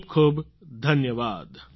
ખૂબખૂબ ધન્યવાદ